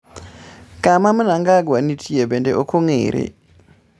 Kama Mnangagwa nitie bende ok ong'ere.